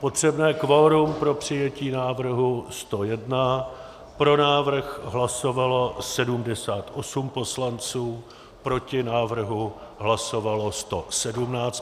Potřebné kvorum pro přijetí návrhu 101, pro návrh hlasovalo 78 poslanců, proti návrhu hlasovalo 117 poslanců.